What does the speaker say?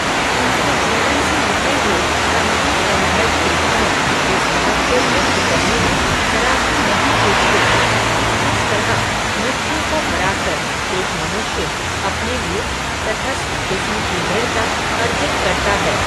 उनके जीवन से निकले हुए, तमाम संघर्ष के क्षण, इस बात को व्यक्त करने में, ज़रा भी नहीं चूकते, कि किस तरह, मृत्यु को हराकर, एक मनुष्य, अपने लिए, टतस्थ किस्म की दृढ़ता, अर्जित करता है